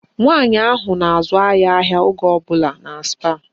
Nwaanyị ahụ na-azụ anyị ahịa oge ọbụla na Spáà